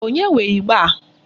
Onye nwe ịgba a?